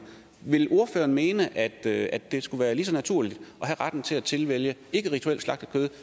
vil ordføreren mene at at det skulle være lige så naturligt at have retten til at tilvælge ikke rituelt slagtet kød